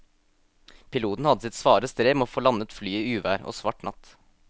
Piloten hadde sitt svare strev med å få landet flyet i uvær og svart natt.